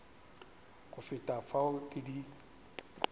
go feta fao ke di